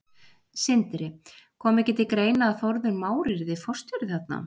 Sindri: Kom ekki til greina að Þórður Már yrði forstjóri þarna?